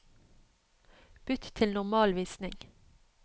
Bytt til normalvisning